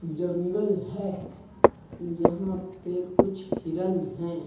जंगल है यहां पे कुछ हिरण हैं।